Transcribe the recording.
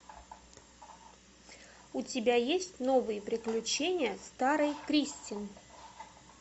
у тебя есть новые приключения старой кристин